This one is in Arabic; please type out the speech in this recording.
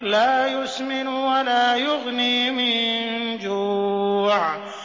لَّا يُسْمِنُ وَلَا يُغْنِي مِن جُوعٍ